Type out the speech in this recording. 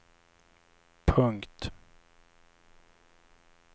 punkt